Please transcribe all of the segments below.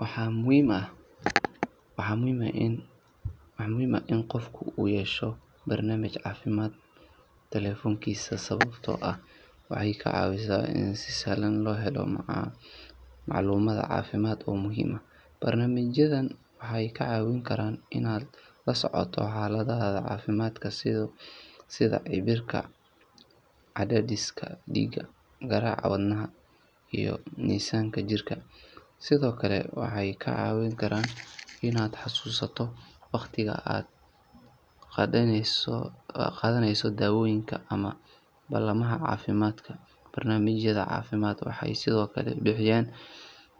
Waxaa muhiim ah in qofku ku yeesho barnaamij caafimaad taleefankiisa sababtoo ah waxay ka caawisaa in si sahlan loo helo macluumaad caafimaad oo muhiim ah. Barnaamijyadan waxay kaa caawin karaan inaad la socoto xaaladdaada caafimaad sida cabirka cadaadiska dhiigga, garaaca wadnaha, iyo miisaanka jirka. Sidoo kale, waxay kaa caawin karaan inaad xasuusato waqtiga aad qaadaneyso daawooyinka ama ballamaha caafimaadka. Barnaamijyada caafimaad waxay sidoo kale bixiyaan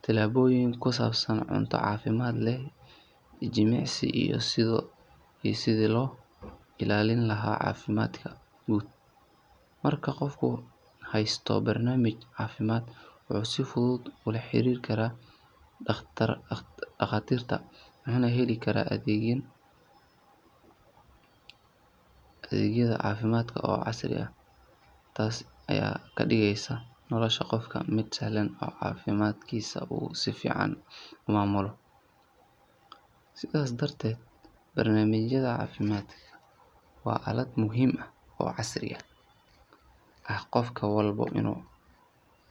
talooyin ku saabsan cunto caafimaad leh, jimicsi, iyo sidii loo ilaalin lahaa caafimaadka guud. Marka qofku haysto barnaamij caafimaad, wuxuu si fudud ula xiriiri karaa dhaqaatiirta, wuxuuna heli karaa adeegyo caafimaad oo casri ah iyada oo aan loo baahnayn in uu booqdo isbitaalka mar kasta. Taas ayaa ka dhigaysa nolosha qofka mid sahlan oo caafimaadkiisa uu si fiican u maamulo. Sidaas darteed, barnaamijyada caafimaadka waa aalad muhiim ah oo casri ah oo qof walba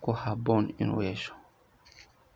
ku habboon inuu yeesho.